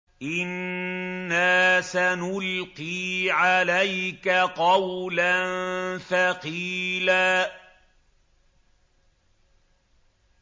إِنَّا سَنُلْقِي عَلَيْكَ قَوْلًا ثَقِيلًا